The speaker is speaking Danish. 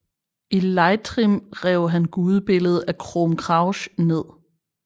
I Leitrim rev han gudebilledet af Crom Cruach ned